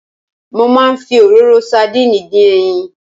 Mo máa ń fi òróró sadínìì dín ẹyin.